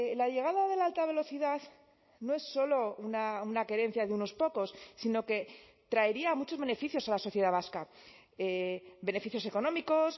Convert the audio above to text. la llegada de la alta velocidad no es solo una querencia de unos pocos sino que traería muchos beneficios a la sociedad vasca beneficios económicos